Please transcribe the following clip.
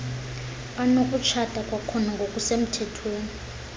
banokutshata kwakhona ngokusemthethweni